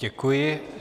Děkuji.